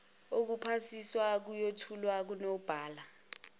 okuphasisa ayothulwa kunobhala